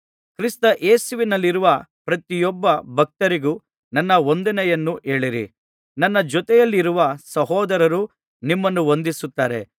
ಕ್ರಿಸ್ತ ಯೇಸುವಿನಲ್ಲಿರುವ ಪ್ರತಿಯೊಬ್ಬ ಭಕ್ತರಿಗೂ ನನ್ನ ವಂದನೆಯನ್ನು ಹೇಳಿರಿ ನನ್ನ ಜೊತೆಯಲ್ಲಿರುವ ಸಹೋದರರು ನಿಮ್ಮನ್ನು ವಂದಿಸುತ್ತಾರೆ